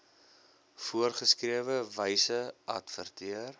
voorgeskrewe wyse adverteer